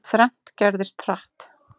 Þrennt gerðist, hratt.